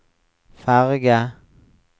ferge